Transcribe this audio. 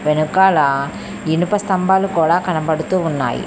వెనకాల ఇనుప స్తంభాలు కూడా కనబడుతూ ఉన్నాయి.